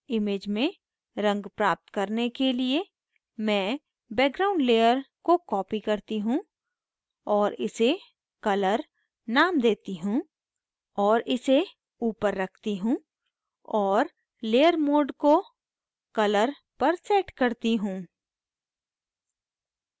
image में रंग प्राप्त करने के लिए मैं background layer को copy करती हूँ और इसे colour name देती हूँ और इसे ऊपर रखती हूँ और layer mode को colour पर set करती हूँ